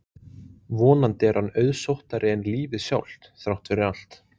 Vonandi er hann auðsóttari en lífið sjálft, þrátt fyrir allt.